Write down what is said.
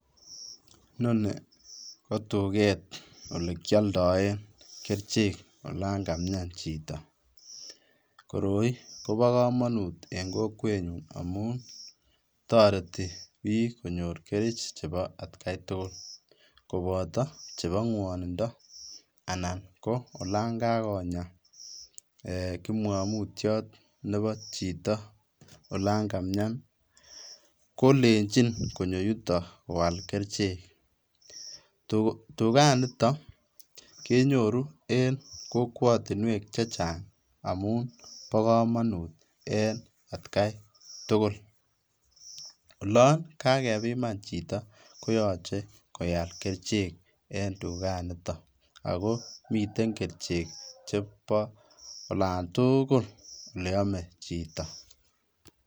Inoni kotuket olekioldoen kerichek olaan kamian chito, koroi kobokomonut en kokwenyun amun toreti biik konyor kerich cheboo atkai tukul koboto chebong'wonindo anan ko olon kakonyaa eeh kipngomutyot neboo chito olon kamian kolenchin konyoo yuton koaal kerikchek, tukaniton kenyoru en kokwotinwek chechang amun bokomonut en etkai tukul, olon kakebiman chito koyoche koal kerichek en tukaniton akomiten kerichek cheboo olaantukul oleame chito.